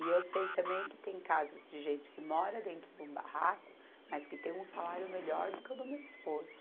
E eu sei também que tem casos de gente que mora dentro de um barraco, mas que tem um salário melhor do que o do meu esposo.